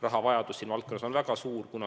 Rahavajadus selles valdkonnas on väga suur.